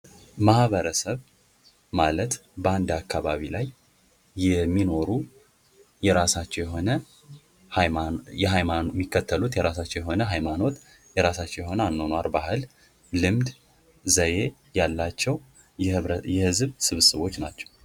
ማህበረሰብ ማለት በአንድ አካባቢ ላይ የራሳቸው የሆነ የሚከተሉት የራሳቸው የሆነ ሃይማኖት የሆነ አኗኗር ባህል ልምድ ዘዬ ያላቸው የህዝብ ስብስቦች ናቸው ::